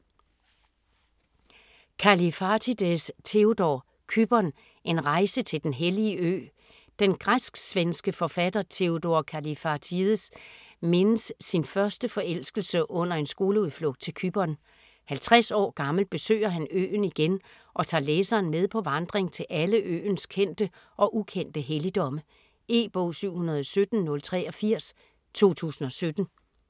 Kallifatides, Theodor: Cypern: en rejse til den hellige ø Den græsk-svenske forfatter Theodor Kallifatides mindes sin første forelskelse under en skoleudflugt til Cypern; 50 år gammel besøger han øen igen og tager læseren med på vandring til alle øens kendte og ukendte helligdomme. E-bog 717083 2017.